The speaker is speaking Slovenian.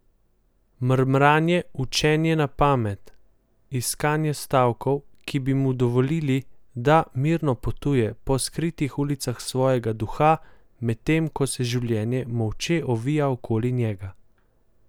Mrmranje, učenje na pamet, iskanje stavkov, ki bi mu dovolili, da mirno potuje po skritih ulicah svojega duha, medtem ko se življenje molče ovija okoli njega.